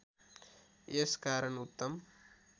यस कारण उत्तम